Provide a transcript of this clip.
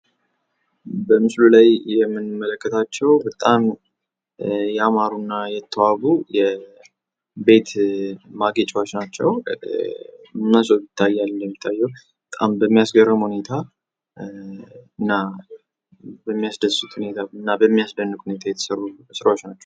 በምስሉ ላይ የምንመለከታቸው በጣም ያማሩና የተዋቡ ቤት ማጌጫዎች ናቸው። ሞሶብ ይታያል እንደሚታየው በጣም በሚያስገርም ሁኔታ እና በሚያስደስት ሁኔታ እና በሚያስደንቅ ሁኔታ የተሰሩ ስራዎች ናቸው።